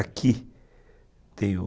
Aqui tem o